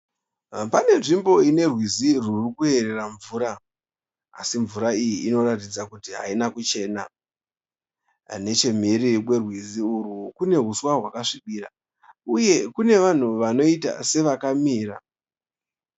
Pane nzvimbo ine rwizi rurikuyerera mvura, asi mvura iyi inoratidza kuti haina kuchena. Neche mhiri kwerwizi urwu kune huswa hwakasvibira uye kune vanhu vanoita sevakamira.